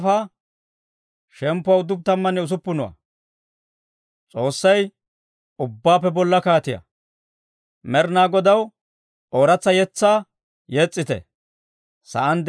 Med'inaa Godaw ooratsa yetsaa yes's'ite; sa'aan de'iyaa asay, ubbay Med'inaa Godaw yes's'ite.